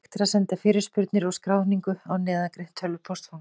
Hægt er að senda fyrirspurnir og skráningu á neðangreint tölvupóstfang.